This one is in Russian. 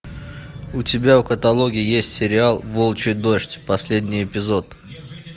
у тебя в каталоге есть сериал волчий дождь последний эпизод